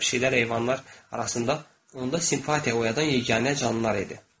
Ona qalsa pişiklərdə heyvanlar arasında onda simpatiya oyadan yeganə canlılar idi.